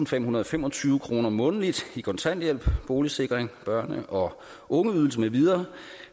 femhundrede og femogtyve kroner månedligt i kontanthjælp boligsikring børne og ungeydelse med videre